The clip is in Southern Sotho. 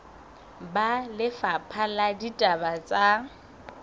ba lefapha la ditaba tsa